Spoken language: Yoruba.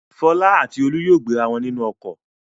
Fọlá àti Olú yóò gbéra wọn nínú ọkọ̀.